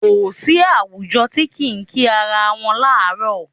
Kò sí àwùjọ tí kì í kí ara wọn láàárọ̀.